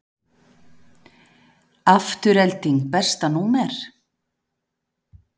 Afturelding Besta númer?